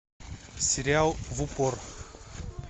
сериал в упор